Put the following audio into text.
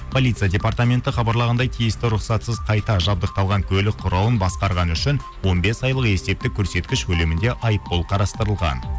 полиция департаменті хабарлағандай тиісті рұқсатсыз қайта жабдықталған көлік құралын басқарғаны үшін он бес айлық есептік көрсеткіш көлемінде айыппұл қарастырылған